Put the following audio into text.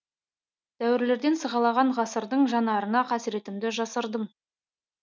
дәуірлерден сығалаған ғасырдың жанарына қасіретімді жасырдым